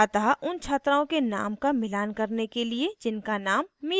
अतः उन छात्राओं के name का मिलान करने के लिए जिनका name mira है